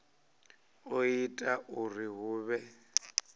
o ita uri hu vhe